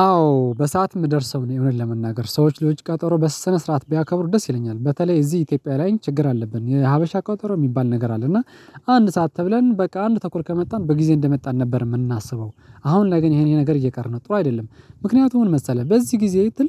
አዎ በሰአት የምደርሰው እኔ እውነት ለመናገር ሰዎች ለውጭ ቀጠሮ በስነ ስነዓት ቢያከብሩ ደስ ይለኛል በተለይ እዚህ ኢትዮጵያ ላይ ችግር አለብን የሀበሻ ቀጠሮ የሚባል ነገር አለ እና አንድ ሰዓት ተብለን በቃ አንድ ተኩል ከመጣን በጊዜ እንደመጣን ነበር የምናስበው አሁን ላይ ግን ይሄን ይሄ ነገር እየቀረ ነው ጥሩ አይደለም። ምክንያቱ ምን መሰለህ በዚህ ጊዜ ትል